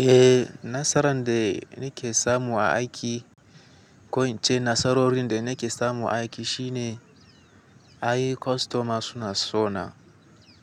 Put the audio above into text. Eh, nasaran da nake samu a aiki, ko ita ce nasarorin da nake samu a aiki shine, ai customers suna so na.